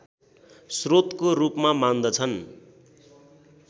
श्रोतको रूपमा मान्दछन्